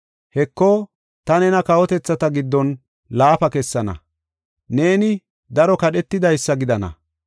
“Heko, ta nena kawotethata giddon laafa kessana; neeni daro kadhetidaysa gidana.